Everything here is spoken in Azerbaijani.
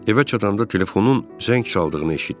Evə çatanda telefonun zəng çaldığını eşitdi.